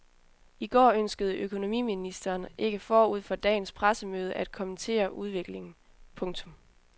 I går ønskede økonomiministeren ikke forud for dagens pressemøde at kommentere udviklingen. punktum